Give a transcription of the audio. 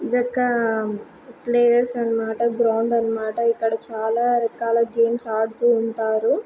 ఇది ఒక ప్లేస్ అనిమాట గ్రౌండ్ అనిమాట ఇక్కడ చాలా రకాల గేమ్స్ ఆడుతూ ఉంటారు.